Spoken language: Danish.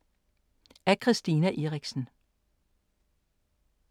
Af Christina Eriksen